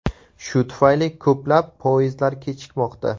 Shu tufayli ko‘plab poyezdlar kechikmoqda.